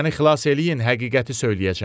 Məni xilas eləyin, həqiqəti söyləyəcəyəm.